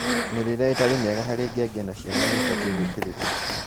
mĩrĩĩre ĩtarĩ mĩega harĩ ngenge na ciana nĩ ibatiĩ gũũkĩrĩrũo